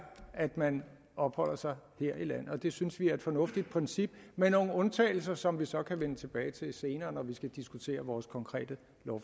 at man opholder sig her i landet og det synes vi er et fornuftigt princip med nogle undtagelser som vi så kan vende tilbage til senere når vi skal diskutere vores konkrete